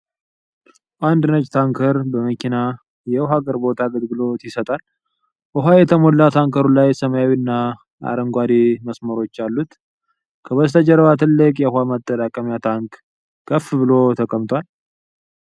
አንድ ነጭ ታንከር መኪና የውሃ አቅርቦት አገልግሎት ይሰጣል። በውሃ የተሞላ ታንከሩ ላይ ሰማያዊና አረንጓዴ መስመሮች አሉት። ከበስተጀርባ ትልቅ የውሃ ማጠራቀሚያ ታንክ ከፍ ብሎ ተቀምጧል።